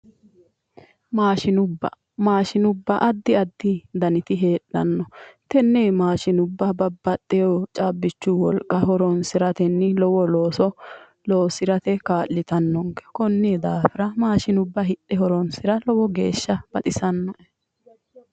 Maashinubba ,maashinubba addi addi danniti heedhano tene maashinubba babbaxino caabbichu wolqa horonsiratenni lowo looso loosirate kaa'littanonke koni daafira maashinubba hidhe horonsira lowo geeshsha baxisanoe.